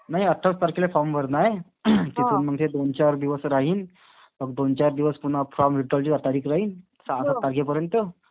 नाही. अठ्ठावीस तारखेला फॉर्म भरणं आहे. तिथून मग ते दोन-चार दिवस राहील. मग दोन चार दिवस पुन्हा फॉर्म विथड्रॉवलची तारीख राहील. सहा सात तारखेपर्यंत.